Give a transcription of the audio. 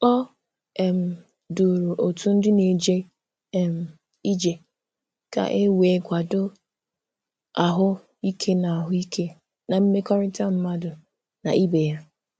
O um duru otu ndị na-eje um ije ka e wee kwado ahụ ike na ahụ ike na mmekọrịta mmadụ na ibe ya